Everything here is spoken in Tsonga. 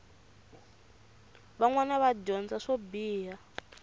vanwana va dyondza swo biha